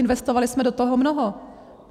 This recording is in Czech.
Investovali jsme do toho mnoho.